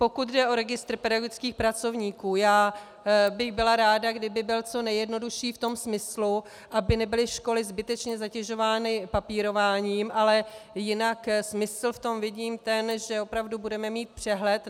Pokud jde o registr pedagogických pracovníků, já bych byla ráda, kdyby byl co nejjednodušší v tom smyslu, aby nebyly školy zbytečně zatěžovány papírováním, ale jinak smysl v tom vidím ten, že opravdu budeme mít přehled.